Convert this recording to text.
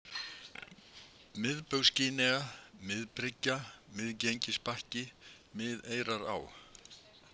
Miðbaugs-Gínea, Miðbryggja, Miðengisbakki, Miðeyrará